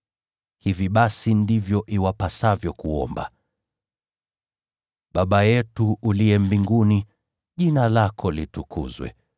“Hivi basi, ndivyo iwapasavyo kuomba: “ ‘Baba yetu uliye mbinguni, Jina lako litukuzwe.